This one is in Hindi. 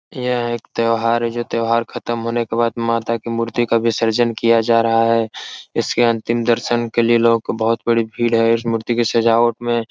यह एक त्यौहार है जो त्यौहार खत्म होने के बाद माता की मूर्ति का विसर्जन किया जा रहा है इसके अंतिम दर्शन के लिए लोगों को बहुत बड़ी भीड़ है इस मूर्ति की सजावट में --